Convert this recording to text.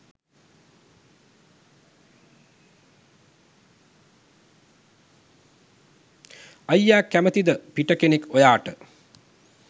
අයියා කැමතිද පිට කෙනෙක් ඔයාට